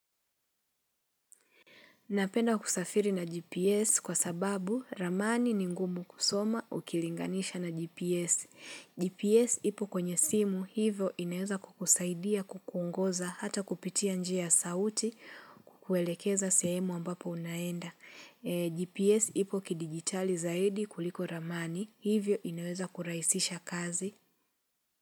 Napenda kusafiri na GPS kwa sababu ramani ni ngumu kusoma ukilinganisha na GPS. GPS ipo kwenye simu hivyo inaweza kukusaidia kukuongoza hata kupitia njia ya sauti kukuelekeza sehemu ambapo unaenda. GPS ipo kidigitali zaidi kuliko ramani hivyo inaweza kurahisisha kazi.